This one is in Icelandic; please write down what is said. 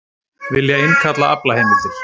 Vilja innkalla aflaheimildir